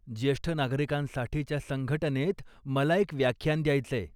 ज्येष्ठ नागरिकांसाठीच्या संघटनेत मला एक व्याख्यान द्यायचंय.